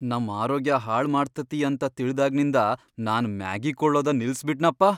ನಮ್ ಆರೋಗ್ಯ ಹಾಳ್ ಮಾಡ್ತತಿ ಅಂತ ತಿಳ್ದಾಗ್ನಿಂದ ನಾನ್ ಮ್ಯಾಗಿ ಕೊಳ್ಳೋದ ನಿಲ್ಸಬಿಟ್ನಪ್ಪ.